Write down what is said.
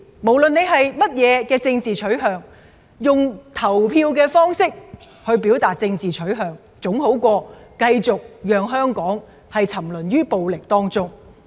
不論你持有任何政治取向，用投票的方式去表達自己的政治取向，總好過繼續讓香港沉淪於暴力中。